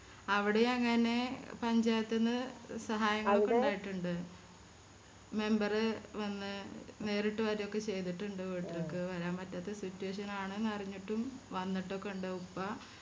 അവിടേയും അങ്ങനെ പഞ്ചായത്ത് ന്ന് സഹായങ്ങളൊക്കെ ഇണ്ടായിട്ടിണ്ട് member വന്ന് നേരിട്ട് വരൊക്കെ ചെയ്തിട്ടുണ്ട് വീട്ടിലിക്ക് വരാൻ പറ്റാത്ത Situation ആണ് ന്ന് അറിഞ്ഞിട്ടും വന്നിട്ടൊക്കെ ഇണ്ട് ഉപ്പ